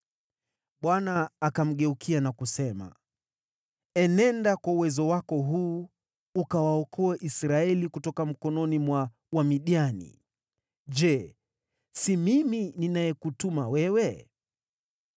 Bwana akamgeukia na kusema “Enenda kwa uwezo wako huu, ukawaokoe Israeli kutoka mikononi mwa Wamidiani. Je, si mimi ninayekutuma wewe?”